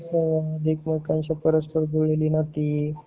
एकमेकांशी परस्पर जुळलेली नाती